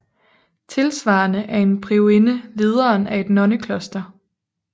Tilsvarende er en priorinde lederen af et nonnekloster